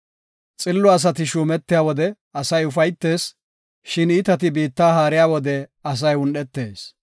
Xillo asati shuumetiya wode asay ufaytees; shin iitati biitta haariya wode asay un7etees.